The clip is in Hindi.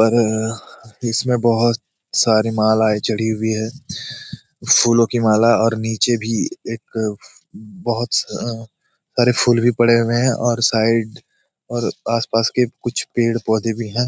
पर अ इसमें बहुत सारी मालाएं जड़ी हुई है फूलों की माला और नीचे भी एक बहुत स अ सारे फूल भी पड़े हुए है और साइड और आस पास के कुछ पेड़ पौधे भी है।